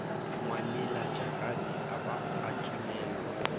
ngwanelajakane a ba a timellwa